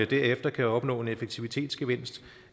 derefter kan opnå en effektivitetsgevinst